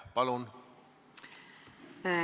Palun!